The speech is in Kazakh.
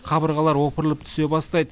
қабырғалар опырылып түсе бастайды